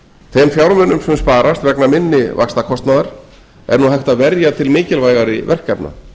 þeim fjármunum sem sparast vegna minni vaxtakostnaðar er nú hægt að verja til mikilvægari verkefna